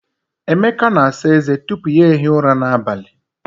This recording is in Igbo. Emeka na-asa eze tupu ya ehie ụra n'abalị.